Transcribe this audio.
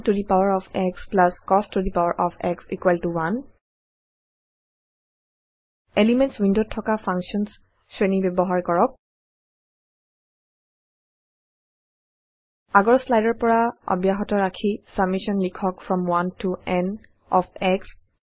চিন to the power of x plus cos to the power of x 1 elements ৱিণ্ডত থকা functions শ্ৰেণী ব্যৱহাৰ কৰক আগৰ শ্লাইডৰ পৰা অব্যাহত ৰাখি চামেশ্যন লিখক from 1 to n of show